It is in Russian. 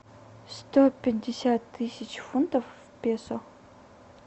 сто пятьдесят тысяч фунтов в песо